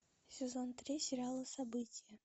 сезон три сериала событие